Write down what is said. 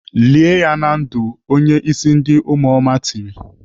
"Lie ya na ndụ!" Onye ịsị ndị ụmụoma tiri.